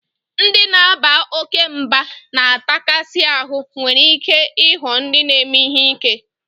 Ndị na-aba oke mba na atakasi ahu nwere ike ịghọ ndị na-eme ihe ike